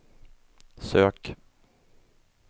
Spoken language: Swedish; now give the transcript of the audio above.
sök